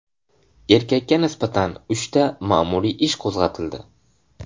Erkakka nisbatan uchta ma’muriy ish qo‘zg‘atildi.